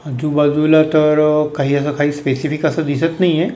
आजूबाजूला तर काही असं स्पेसिफिक काही असं दिसत नाहीए.